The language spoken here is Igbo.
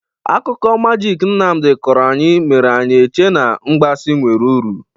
Akụkọ magiki Nnamdị kọrọ anyị mere anyị eche n'mgbasị nwere uru.